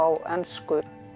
ensku